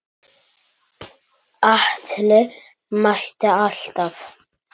Atli mætti alltaf.